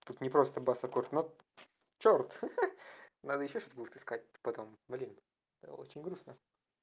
тут не просто бас аккорд нот чёрт ха-ха надо ещё что-то будет искать потом блин очень грустно